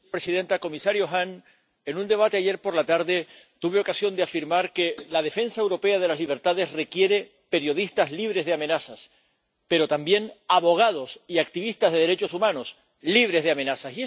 Señora presidenta, señor comisario Hahn, en un debate, ayer por la tarde, tuve ocasión de afirmar que la defensa europea de las libertades requiere periodistas libres de amenazas, pero también abogados y activistas de derechos humanos libres de amenazas.